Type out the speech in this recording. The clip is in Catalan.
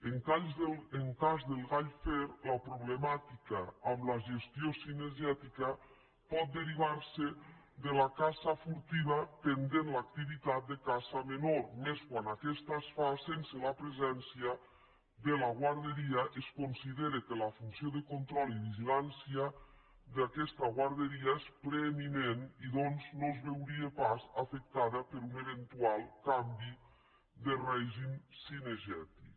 en el cas del gall fer la problemàtica amb la gestió cine·gètica pot derivar·se de la caça furtiva pendent de l’acti·vitat de la caça menor i més quan aquesta es fa sense la presència de la guarderia es considera que la funció de control i vigilància d’aquesta guarderia és preeminent i doncs no es veuria pas afectada per un eventual canvi de règim cinegètic